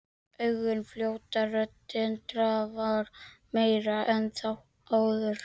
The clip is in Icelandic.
Augun fljóta, röddin drafar meira en áður.